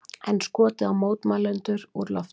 Enn skotið á mótmælendur úr lofti